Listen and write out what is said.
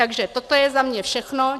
Takže toto je za mě všechno.